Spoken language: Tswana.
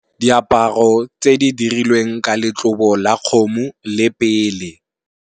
Diaparo tse di dirilweng ka letlobo la kgomo le pele.